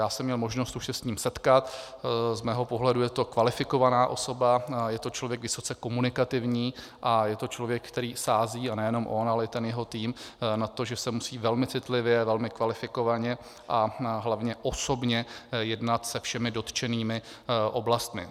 Já jsem měl možnost už se s ním setkat, z mého pohledu je to kvalifikovaná osoba, je to člověk vysoce komunikativní a je to člověk, který sází - a nejenom on, ale i jeho tým - na to, že se musí velmi citlivě, velmi kvalifikovaně a hlavně osobně jednat se všemi dotčenými oblastmi.